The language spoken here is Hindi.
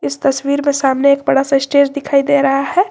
इस तस्वीर में सामने एक बड़ा सा स्टेज दिखाई दे रहा है।